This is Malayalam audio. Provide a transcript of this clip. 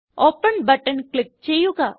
ഓപ്പൻ ബട്ടൺ ക്ലിക്ക് ചെയ്യുക